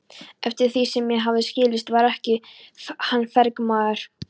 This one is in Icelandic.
Eftir því sem mér hafði skilist var hann verkamaður.